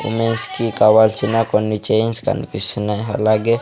ఉమెన్స్కి కావాల్సిన కొన్ని చైన్స్ కన్పిస్తున్నయ్ అలాగే--